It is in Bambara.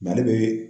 Nali be